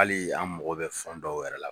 Hali an mako bɛ fɛn dɔw yɛrɛ la.